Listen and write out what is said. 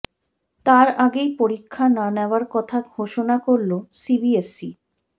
তার আগেই পরীক্ষা না নেওয়ার কথা ঘোষণা করল সিবিএসই